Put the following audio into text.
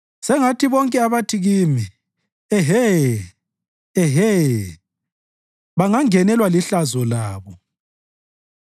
Sengathi bonke abathi kimi, “Ehe, Ehe!” banganengwa lihlazo labo.